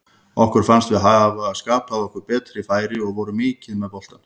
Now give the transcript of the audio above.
Okkur fannst við hafa skapað okkur betri færi og vorum mikið með boltann.